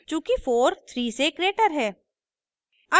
चूँकि 43 से ग्रेटर है